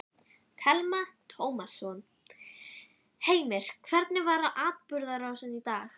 Telma Tómasson: Heimir, hvernig var atburðarrásin í dag?